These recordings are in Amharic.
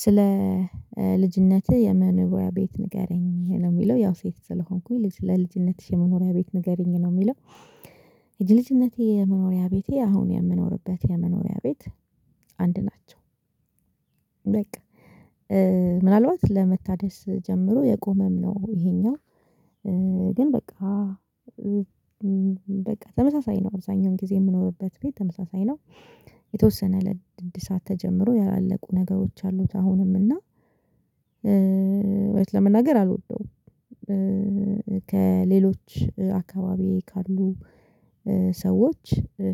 ስለ ልጅነትህ የመኖቢያ ቤት ንገረኝ ነው የሚለው ያው ሴት ስለሆንኩኝ ልጅ ለልጅነትሽ የመኖሪያ ቤት ንገረኝ ነው የሚለው? የድልጅነቴ የመኖሪያ ቤቴ አሁን የምኖርበት የመኖሪያ ቤት አንድ ናቸው። በቃ ምናልባት ለመታደስ ጀምሮ የቆመም ነው። ይሄኛው ግን በቃ በቃ ተመሳሳይ ነው። አብዛኛውን ጊዜ የምኖርበት ቤት ተመሳሳይ ነው። የተወሰነ ለድድ ሰዓት ተጀምሮ ያላለቁ ነገሮች አሉት አሁንም እና ለመናገር አልወደውም። ከሌሎች አካባቢ ካሉ ሰዎች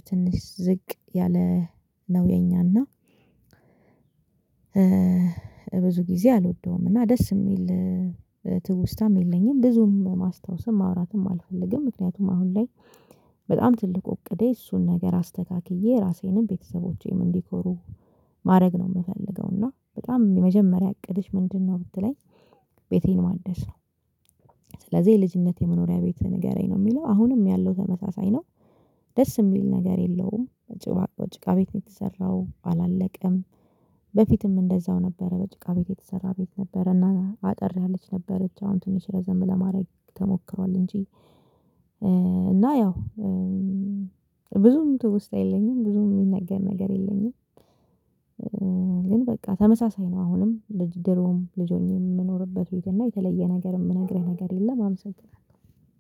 ትንሽ ዝቅ ያለ ነው የኛና። ብዙ ጊዜ አልወደውም እና ደስ የሚል ትውስታም የለኝም ብዙም ማስታወስም ማውራትም አልፈልግም። ምክንያቱም አሁን ላይ በጣም ትልቁ እቅዴ እሱን ነገር አስተካክዬ ራሴንም ቤተሰቦቼም እንዲኮሩ ማድረግ ነው የምፈልገው። እና በጣም የመጀመሪያ እቅድሽ ምንድነው? ብትለኝ ቤቴን ማደስ ነው። ስለዚህ የልጅነት መኖሪያ ቤት ንገረኝ ነው የሚለው? አሁንም ያለው ተመሳሳይ ነው። ደስ የሚል ነገር የለውም። እጅግ በቃ እጅግ ቤት የተሰራው አላለቀም። በፊትም እንደዛው ነበረ በጭቃ ቤት የተሰራ ቤት ነበረ እና አጠር ያለች ነበረች አሁን ትንሽ ረዘም ለማድረግ ተሞክሯል እንጂ። እና ያው ብዙም ትውስታ የለኝም ብዙም የሚነገር ነገር የለኝም። ግን በቃ ተመሳሳይ ነው አሁንም ልጅ ድሮም ልጆችን የምኖርበት ወይዘር እና የተለየ ነገር የምነግርህ ነገር የለም። አመሰግናለሁ